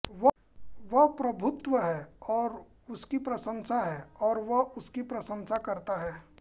वह प्रभुत्व है और उसकी प्रशंसा है और वह उसकी प्रशंसा करता है